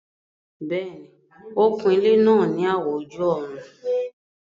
Bẹ́ẹ̀ni, ó kun ilẹ́ náà ní àwọ̀ ojú-ọ̀run